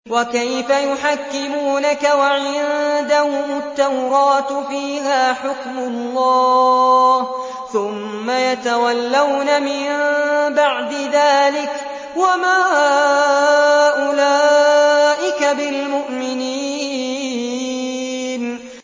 وَكَيْفَ يُحَكِّمُونَكَ وَعِندَهُمُ التَّوْرَاةُ فِيهَا حُكْمُ اللَّهِ ثُمَّ يَتَوَلَّوْنَ مِن بَعْدِ ذَٰلِكَ ۚ وَمَا أُولَٰئِكَ بِالْمُؤْمِنِينَ